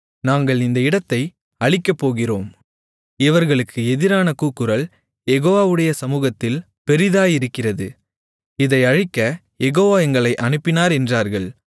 நாங்கள் இந்த இடத்தை அழிக்கப்போகிறோம் இவர்களுக்கு எதிரான கூக்குரல் யெகோவாவுடைய சமூகத்தில் பெரிதாயிருக்கிறது இதை அழிக்கக் யெகோவா எங்களை அனுப்பினார் என்றார்கள்